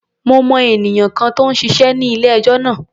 Mo mọ ènìyàn kan tó ń ṣiṣé ní ilé-ẹjọ́ náà.